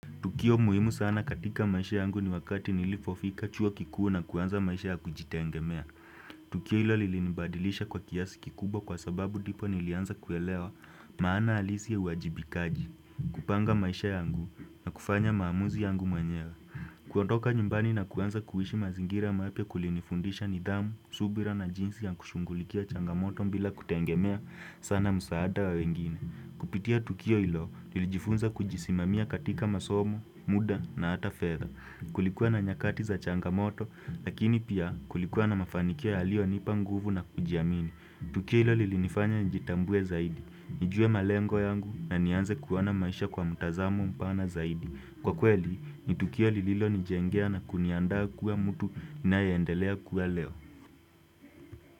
Tukio muhimu sana katika maisha yangu ni wakati nilipofika chuo kikuu na kuanza maisha ya kujitegemea. Tukio hilo lilinibadilisha kwa kiasi kikubwa kwa sababu ndipo nilianza kuelewa maana halisi ya uwajibikaji, kupanga maisha yangu na kufanya maamuzi yangu mwenyewe. Kuondoka nyumbani na kuanza kuishi mazingira mapya kulinifundisha nidhamu, subira na jinsi ya kushughulikia changamoto bila kutegemea sana msaada wa wengine. Kupitia tukio hilo, nilijifunza kujisimamia katika masomo, muda na hata fedha Kulikuwa na nyakati za changamoto, lakini pia kulikuwa na mafanikio yalio nipa nguvu na kujiamini Tukio hilo lilinifanya nijitambue zaidi, nijue malengo yangu na nianze kuona maisha kwa mtazamo mpana zaidi Kwa kweli, ni tukio lililo nijengea na kuniandaa kuwa mtu ninayeendelea kuwa leo.